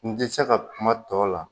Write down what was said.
N tɛ se ka kuma tɔw la